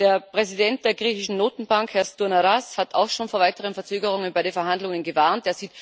Der Präsident der griechischen Notenbank, Herr Stournaras, hat auch schon vor weiteren Verzögerungen bei den Verhandlungen gewarnt.